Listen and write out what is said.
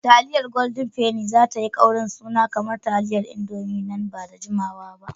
Taliyar Golden Penni za tayi kaurin suna kamar taliyar Indomi nan ba da jimawa ba.